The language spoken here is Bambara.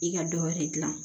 I ka dɔ wɛrɛ dilan